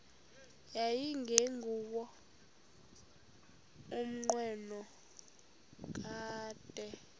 yayingenguwo umnqweno kadr